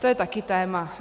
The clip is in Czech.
To je také téma.